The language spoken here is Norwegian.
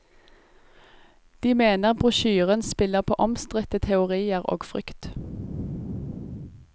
De mener brosjyren spiller på omstridte teorier og frykt.